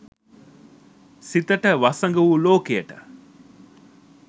සිතට වසඟ වූ ලෝකයට